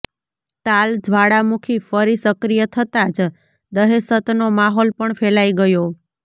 તાલ જ્વાળામુખી ફરી સક્રિય થતાં જ દહેશતનો માહોલ પણ ફેલાઈ ગયો